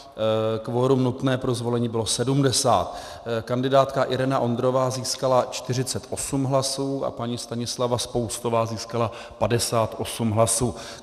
Kvorum nutné pro zvolení bylo 70. Kandidátka Irena Ondrová získala 48 hlasů a paní Stanislava Spoustová získala 58 hlasů.